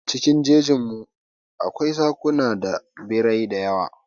Cikin jejin mu, akwai zakuna da birrai dayawa.